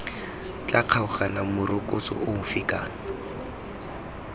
tla kgaoganang morokotso ofe kana